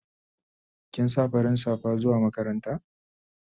Kin sa farin safa zuwa makaranta?